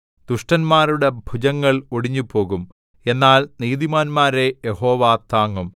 ദുഷ്ടന്മാരുടെ ഭുജങ്ങൾ ഒടിഞ്ഞുപോകും എന്നാൽ നീതിമാന്മാരെ യഹോവ താങ്ങും